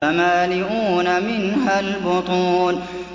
فَمَالِئُونَ مِنْهَا الْبُطُونَ